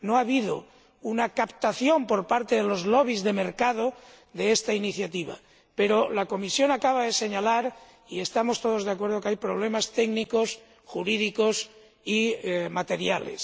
No ha habido una captación por parte de los lobbies de mercado de esta iniciativa, pero la Comisión acaba de señalar ―y estamos todos de acuerdo― que hay problemas técnicos, jurídicos y materiales.